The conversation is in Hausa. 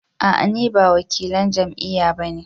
A'a ni ba wakilan jam'iyya ba ne